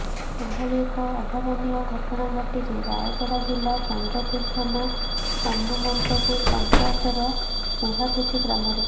ଏଭଳି ଏକ ଅଭାବନିୟ ଘଟଣା ଘଟିଛି ରାୟଗଡା ଜିଲ୍ଲା ଚନ୍ଦ୍ରପୁର ଥାନା ହନୁମନ୍ତପୁର ପଞ୍ଚାୟତର ଉହାପୁଚି ଗ୍ରାମରେ